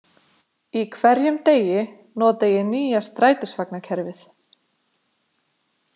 Í hverjum degi nota ég nýja strætisvagnakerfið.